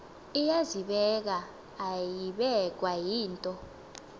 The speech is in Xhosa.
iyazibeka ayibekwa yinto